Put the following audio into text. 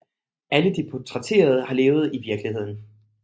Alle de portrætterede har levet i virkeligheden